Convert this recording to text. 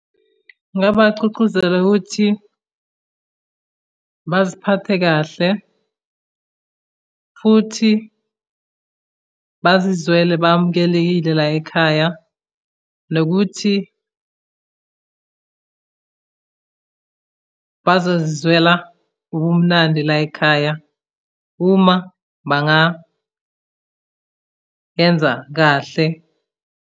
Ngingabagcugcuzela ukuthi baziphathe kahle, futhi bazizwele bamukelekile layikhaya, nokuthi bazozizwela ubumnandi layikhaya uma bangayenza kahle.